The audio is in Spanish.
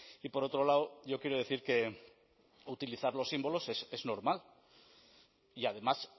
y por otro lado yo quiero decir que utilizar los símbolos es normal y además